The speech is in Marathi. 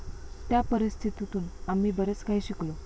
त्या परिस्थितीतून आम्ही बरेच काही शिकलो.